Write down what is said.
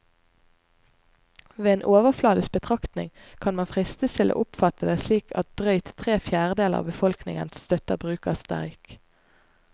Ved en overfladisk betraktning kan man fristes til å oppfatte det slik at drøyt tre fjerdedeler av befolkningen støtter bruk av streik.